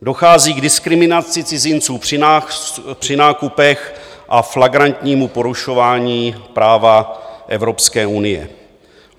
Dochází k diskriminaci cizinců při nákupech a flagrantnímu porušování práva Evropské unie.